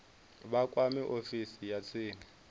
vha kwame ofisi ya tsini